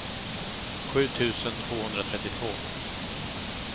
sju tusen tvåhundratrettiotvå